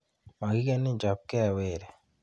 Makikenin, chopke weri.